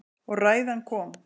Og ræðan kom.